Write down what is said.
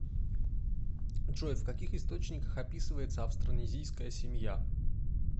джой в каких источниках описывается австронезийская семья